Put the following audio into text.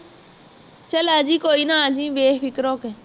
ਚੱਲ ਆਜੀ ਕੋਈ ਨਾ ਅੱਜੀ ਬੇਫਿਕਰ ਹੋਕੇ